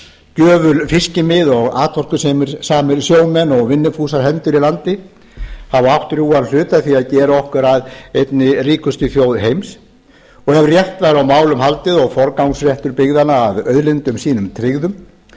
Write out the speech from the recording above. gjöful fiskimið og atorkusamir sjómenn og vinnufúsar hendur í landi hafa átt drjúgan hlut að því að gera okkur að einni ríkustu þjóð heims og ef rétt væri á málum haldið og forgangsréttur byggðanna að auðlindum sínum tryggður